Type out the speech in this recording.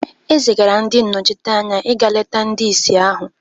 e zigara ndị nnọchiteanya ịga leta ndị ìsì ahụ